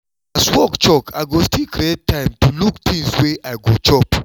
as work choke i go still create time to look things wey i go chop